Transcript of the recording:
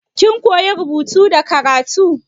Kin koya rubutu da karatu?